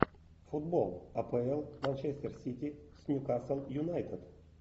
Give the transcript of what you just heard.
футбол апл манчестер сити с ньюкасл юнайтед